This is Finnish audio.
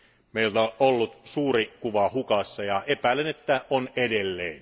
Meiltä on ollut suuri kuva hukassa, ja epäilen, että on edelleen.